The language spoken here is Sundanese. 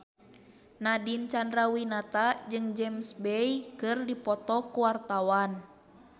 Nadine Chandrawinata jeung James Bay keur dipoto ku wartawan